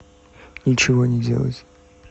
ничего не делать